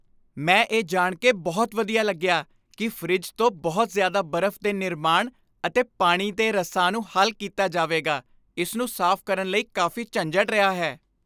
ਮੈਂ ਇਹ ਜਾਣ ਕੇ ਬਹੁਤ ਵਧੀਆ ਲੱਗਿਆ ਕੀ ਫਰਿੱਜ ਤੋਂ ਬਹੁਤ ਜ਼ਿਆਦਾ ਬਰਫ਼ ਦੇ ਨਿਰਮਾਣ ਅਤੇ ਪਾਣੀ ਦੇ ਰਸਾ ਨੂੰ ਹੱਲ ਕੀਤਾ ਜਾਵੇਗਾ ਇਸ ਨੂੰ ਸਾਫ਼ ਕਰਨ ਲਈ ਕਾਫ਼ੀ ਝੰਜਟ ਰਿਹਾ ਹੈ